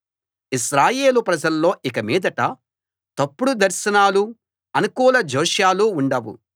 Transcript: ఇశ్రాయేలు ప్రజల్లో ఇక మీదట తప్పుడు దర్శనాలూ అనుకూల జోస్యాలూ ఉండవు